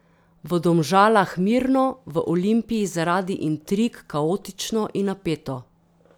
V Domžalah mirno, v Olimpiji zaradi intrig kaotično in napeto.